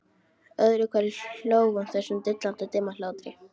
Öðru hverju hló hún þessum dillandi dimma hlátri.